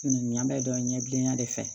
Nin y'an bɛ dɔn ɲɛbilenya de fɛ